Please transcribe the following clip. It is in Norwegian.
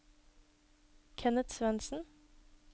Kenneth Svensen